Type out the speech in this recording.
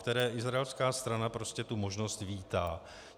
A izraelská strana prostě tu možnost vítá.